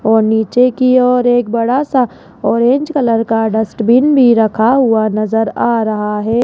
और नीचे की ओर एक बड़ा सा ऑरेंज कलर का डस्टबिन भी रखा हुआ नजर आ रहा है।